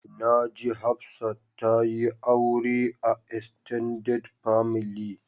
Na ji Hafsat ta yi aure a "extended family ".